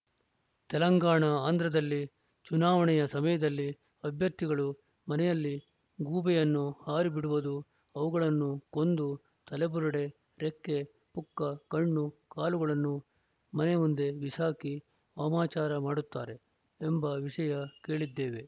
ತೆಲಂಗಾಣ ಆಂಧ್ರದಲ್ಲಿ ಚುನಾವಣೆಯ ಸಮಯದಲ್ಲಿ ಅಭ್ಯರ್ಥಿಗಳು ಮನೆಯಲ್ಲಿ ಗೂಬೆಯನ್ನು ಹಾರಿ ಬಿಡುವುದು ಅವುಗಳನ್ನು ಕೊಂದು ತಲೆಬುರುಡೆ ರೆಕ್ಕೆ ಪುಕ್ಕ ಕಣ್ಣು ಕಾಲುಗಳನ್ನು ಮನೆ ಮುಂದೆ ಬಿಸಾಕಿ ವಾಮಾಚಾರ ಮಾಡುತ್ತಾರೆ ಎಂಬ ವಿಷಯ ಕೇಳಿದ್ದೇವೆ